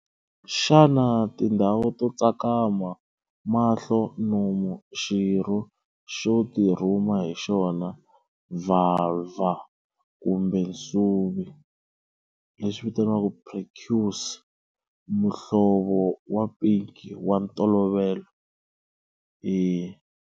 Xana tindhawu to tsakama, mahlo, nomu, xirho xo tirhuma hi xona, vhalvha kumbe nsuvi, prepuce, muhlovo wa pinki wa ntolovelo?